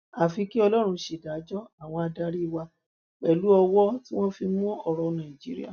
àfi kí ọlọrun ṣèdájọ àwọn adarí wa pẹlú ọwọ tí wọn fi mú ọrọ nàìjíríà